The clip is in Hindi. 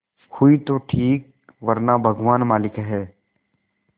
हुई तो ठीक वरना भगवान मालिक है